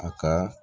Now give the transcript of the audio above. A ka